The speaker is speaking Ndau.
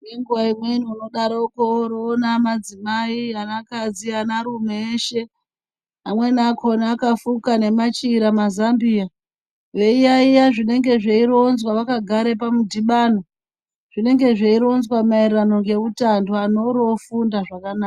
Nenguva imweni unodaroko woroona madzimai, anakadzi anarume eshe amweni akona akafuka nemachira nemazambiya veiyaeya zvinenge zveironzwa vakagare pamudhibano. Zvinenge zveironzwa maererano ngeutano anhu oorofunda zvaka...